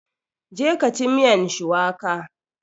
Je ka ci miyan shuwaka!